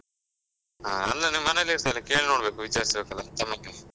ಆ ಅಲ್ಲಾ ನೀನ್ ಮನೆಲ್ಲೇ ಇರ್ತ್ಯಲ್ಲ, ಕೇಳ್ನೋಡ್ಬೇಕು ವಿಚಾರ್ಸ್ ಬೇಕಲ್ಲ .